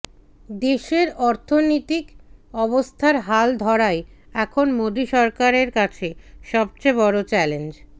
দেশের অর্থনীতিক অবস্থার হাল ধরাই এখন মোদী সরকারের কাছে সবচেয়ে বড় চ্যালেঞ্জ